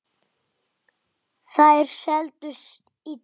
Þær seldust illa.